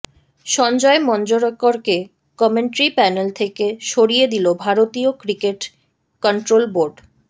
সঞ্জয় মঞ্জরেকরকে commentary panel থেকে সরিয়ে দিল ভারতীয় ক্রিকেট কন্ট্রোল বোর্ড